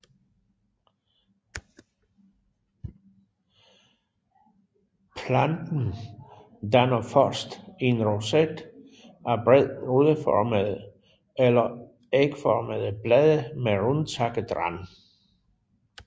Planten danner først en roset af bredt rudeformede eller ægformede blade med rundtakket rand